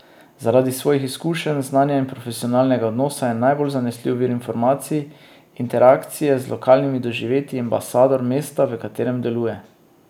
Zaradi svojih izkušenj, znanja in profesionalnega odnosa je najbolj zanesljiv vir informacij, interakcije z lokalnimi doživetji in ambasador mesta, v katerem deluje.